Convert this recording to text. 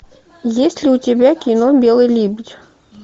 есть ли у тебя кино белый лебедь